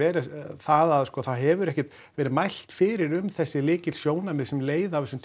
það að það hefur ekkert verið mælt fyrir um þessi lykilsjónarmið sem leiða af þessum